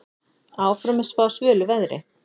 Áfram er spáð svölu veðri.